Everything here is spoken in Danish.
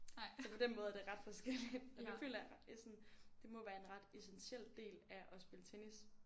Så på den måde er det ret forskelligt men det føler jeg jeg sådan det må være en ret essentiel del af at spille tennis